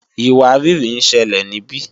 ìwárìrì ń ṣẹlẹ̀ níbí